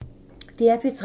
DR P3